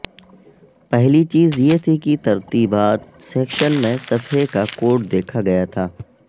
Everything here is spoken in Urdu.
پہلی چیز یہ تھی کہ ترتیبات سیکشن میں صفحے کا کوڈ دیکھا گیا تھا